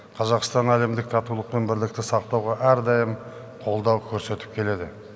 қазақстан әлемдік татулық пен бірлікті сақтауға әрдайым қолдау көрсетіп келеді